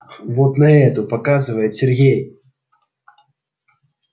вот на эту показывает сергей